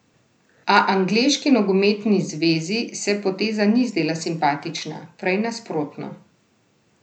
A angleški nogometni zvezi se poteza ni zdela simpatična, prej nasprotno.